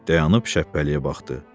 Dayanıb şəppəliyə baxdı.